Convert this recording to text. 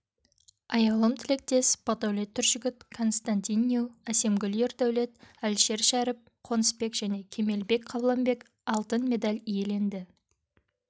аяулым тілектес бақдәулет түржігіт константин ню әсемгүл ердәулет әлішершәріп қонысбек және кемелбек қабланбек алтын медаль иеленді